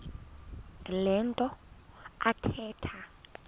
le nto athetha